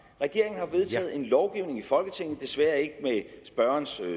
regeringen har vedtaget en lovgivning i folketinget desværre ikke med spørgerens